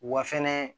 Wa fɛnɛ